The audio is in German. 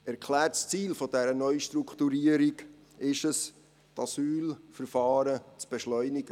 Erklärtes Ziel dieser Neustrukturierung ist es, die Asylverfahren zu beschleunigen.